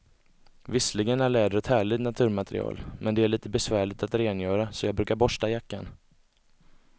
Visserligen är läder ett härligt naturmaterial, men det är lite besvärligt att rengöra, så jag brukar borsta jackan.